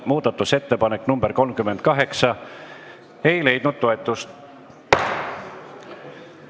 Muudatusettepanek nr 38 ei leidnud toetust.